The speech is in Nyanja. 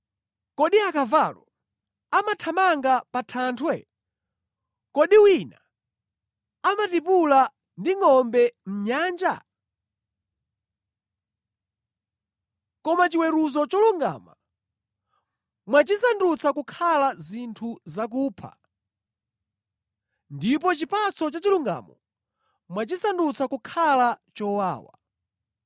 Kodi akavalo amathamanga pa thanthwe? Kodi wina amatipula ndi ngʼombe mʼnyanja? Koma chiweruzo cholungama mwachisandutsa kukhala zinthu zakupha ndipo chipatso cha chilungamo mwachisandutsa kukhala chowawa.